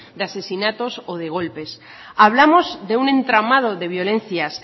de asesinatos o de golpes hablamos de un entramado de violencias